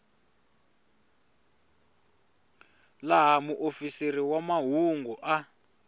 laha muofisiri wa mahungu a